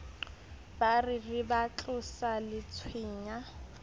ba re ba tlosa letshweya